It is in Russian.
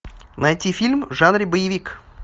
найти фильм в жанре боевик